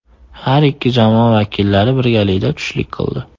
Har ikki jamoa vakillari birgalikda tushlik qildi.